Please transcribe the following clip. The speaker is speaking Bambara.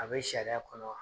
A bɛ sariya kɔnɔ wa?